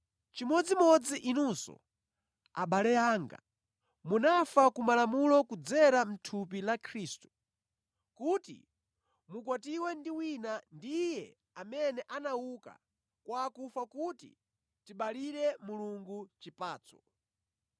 Chimodzimodzi inunso, abale anga, munafa ku Malamulo kudzera mʼthupi la Khristu, kuti mukwatiwe ndi wina, ndi Iye amene anauka kwa akufa kuti tibalire Mulungu chipatso.